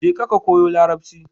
Jeka ka koyo Larabci.